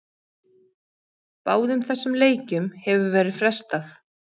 Báðum þessum leikjum hefur verið frestað.